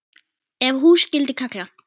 Ef hús skyldi kalla.